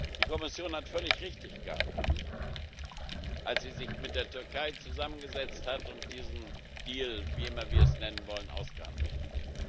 Die Kommission hat völlig richtig gehandelt, als sie sich mit der Türkei zusammengesetzt hat und diesen Deal wie immer wir es nennen wollen ausgehandelt hat.